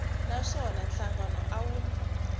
na swona nhlangano a wu